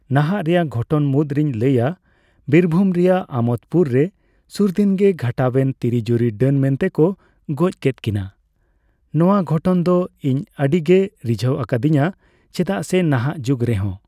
ᱱᱟᱦᱟᱜ ᱨᱮᱭᱟᱜ ᱜᱷᱚᱴᱚᱱ ᱢᱩᱫ ᱨᱤᱧ ᱞᱟᱹᱭᱟ ᱵᱤᱨᱵᱷᱩᱢ ᱨᱮᱭᱟᱜ ᱟᱢᱳᱫᱯᱩᱨ ᱨᱮ ᱥᱩᱨ ᱫᱤᱱ ᱜᱮ ᱜᱷᱚᱴᱟᱣᱮᱱ ᱛᱤᱨᱤ ᱡᱩᱨᱤ ᱰᱟᱹᱱ ᱢᱮᱱᱛᱮᱠᱚ ᱜᱚᱡ ᱠᱮᱫ ᱠᱤᱱ᱾ ᱱᱚᱣᱟ ᱜᱷᱚᱴᱚᱱ ᱫᱚ ᱤᱧ ᱟᱹᱰᱤ ᱜᱮ ᱨᱤᱡᱷᱟᱹᱣ ᱟᱠᱚᱫᱤᱧᱟᱹ᱾ ᱪᱮᱫᱟᱜ ᱥᱮ ᱱᱟᱦᱟᱜ ᱡᱩᱜᱽ ᱨᱮᱦᱚᱸ